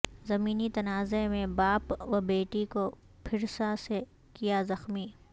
زمینی تنازعہ میں باپ و بیٹی کو پھرسا سے کیا زخمی